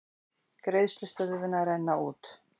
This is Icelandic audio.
Greiðslustöðvun að renna út